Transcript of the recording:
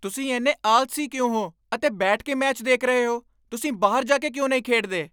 ਤੁਸੀਂ ਇੰਨੇ ਆਲਸੀ ਕਿਉਂ ਹੋ ਅਤੇ ਬੈਠ ਕੇ ਮੈਚ ਦੇਖ ਰਹੇ ਹੋ? ਤੁਸੀਂ ਬਾਹਰ ਜਾ ਕੇ ਕਿਉਂ ਨਹੀਂ ਖੇਡਦੇ?